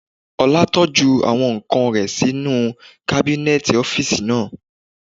Ọlá tọ́jú àwọn ǹkan rẹ̀ sí inú kábínẹ̀tì ọ́físì naa